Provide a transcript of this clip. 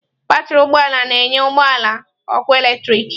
Batrị ụgbọ ala na-enye ụgbọ ala ọkụ eletrik.